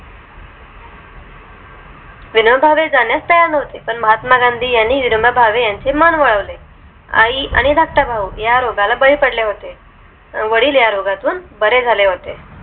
विनोबा भावे जाण्यास तयार नव्हते पण महात्मा गांधी ह्यांनी विनोद भावे ह्यांचे मन वळवले आई आणि धाकटा भाऊ ह्या रोगाला बाली पडली होते वडील ह्या रोगातून बरे झाले होते